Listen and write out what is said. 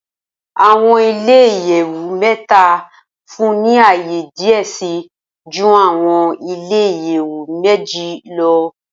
Awọn ile iyẹwu mẹta nfunni ni aaye diẹ sii ju awọn ile iyẹwu meji lọ.